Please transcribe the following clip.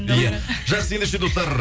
иә жақсы ендеше достар